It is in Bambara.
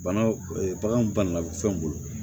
Bana baganw banana fɛnw bolo